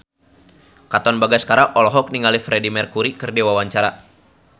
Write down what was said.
Katon Bagaskara olohok ningali Freedie Mercury keur diwawancara